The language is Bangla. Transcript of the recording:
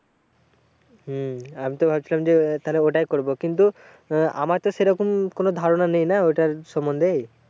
হম আমি তো ভাবছিলাম যে তাহলে আহ ওটাই করবো কিন্তু আহ আমার তো সেরকম কোন ধারণা নেই না ওটার সম্বন্ধে।